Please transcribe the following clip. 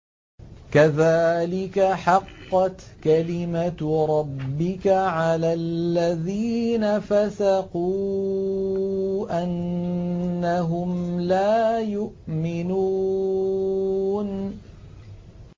كَذَٰلِكَ حَقَّتْ كَلِمَتُ رَبِّكَ عَلَى الَّذِينَ فَسَقُوا أَنَّهُمْ لَا يُؤْمِنُونَ